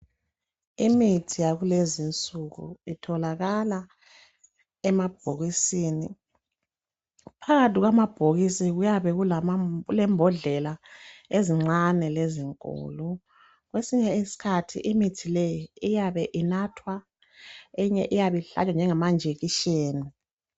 Imithi yakulezi nsuku itholakala emabhokisini. Phakathi kwamabhokisi kuyabe kulembodlela ezincane lezinkulu . Kwesinye isikhathi mithi le iyabe inathwa enye ihlale njengama njekisheni .